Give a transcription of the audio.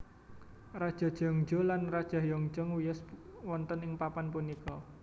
Raja Jeongjo lan Raja Heonjong wiyos wonten ing papan punika